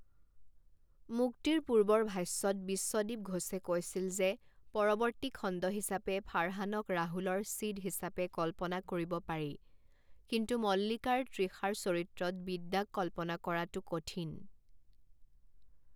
মুক্তিৰ পূৰ্বৰ ভাষ্যত বিশ্বদীপ ঘোছে কৈছিল যে, পৰৰ্ৱতী খণ্ড হিচাপে ফাৰহানক ৰাহুলৰ ছিদ হিচাপে কল্পনা কৰিব পাৰি, কিন্তু মল্লিকাৰ তৃষাৰ চৰিত্ৰত বিদ্যাক কল্পনা কৰাটো কঠিন।